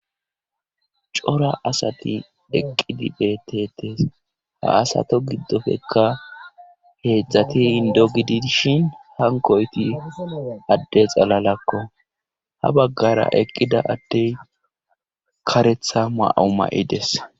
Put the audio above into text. Cora asati eqqidi betetes haasato giddofekka heedzdzati indo gidi dishin hankoyti adde xalalakko habaggara eqqida addey karetha ma'u ma'ides.